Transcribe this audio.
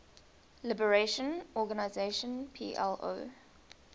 liberation organization plo